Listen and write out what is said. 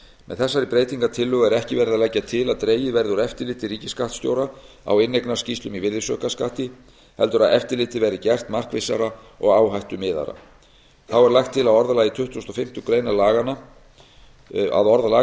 með þessari breytingartillögu er ekki verið að leggja til að dregið verði úr eftirliti ríkisskattstjóra á inneignarskýrslum í virðisaukaskatti heldur að eftirlitið verði gert markvissara og áhættumiðaðra þá er lagt til að orðalag tuttugasta og